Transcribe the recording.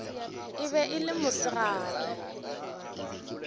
e be e le mosegare